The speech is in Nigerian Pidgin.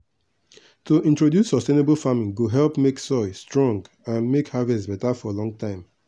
to introduce sustainable farming go help make soil strong and make harvest beta for long time.